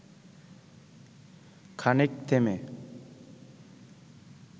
খানিক থেমে